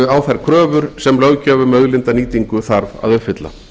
á þær kröfur sem löggjöf um auðlindanýtingu þarf að uppfylla